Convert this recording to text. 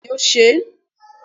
beeni o se